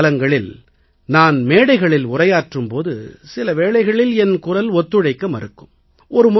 தேர்தல் காலங்களில் நான் மேடைகளில் உரையாற்றும் போது சில வேளைகளில் என் குரல் ஒத்துழைக்க மறுக்கும்